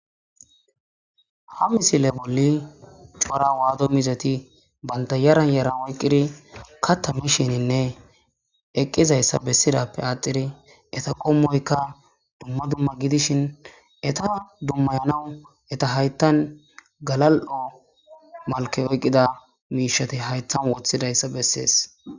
Ha misile bolli cora waado mizeti baynta yaran yaran oyqqiri katta mishininne eqqizayssa bessidappe aaxiri eta qommoyka dumma dumma gidishin eta dummayanawu eta hayttan galal7o malke oyqqida miishati hayttan woththidayssa bessees